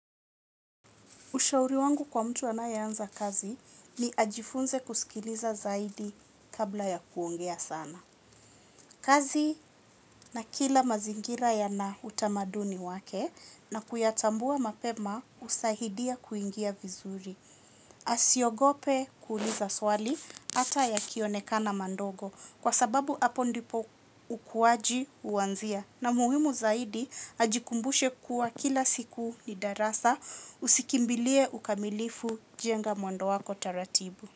Ushauri wangu kwa mtu anayeanza kazi ni ajifunze kusikiliza zaidi kabla ya kuongea sana. Kazi na kila mazingira yana utamaduni wake, na kuyatambua mapema husaidia kuingia vizuri. Asiogope kuuliza swali hata likionekana dogo, kwa sababu hapo ndipo ukuaji huanzia. Na muhimu zaidi, ajikumbushe kuwa kila siku ni darasa; usikimbilie ukamilifu, jenge mwendo wake taratibu.